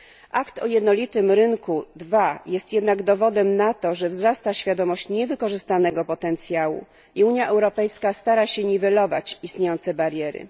Akt o jednolitym rynku II jest jednak dowodem na to, że wzrasta świadomość niewykorzystanego potencjału i Unia Europejska stara się niwelować istniejące bariery.